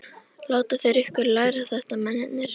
Láta þeir ykkur læra þetta mennirnir?